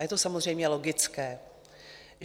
A je to samozřejmě logické.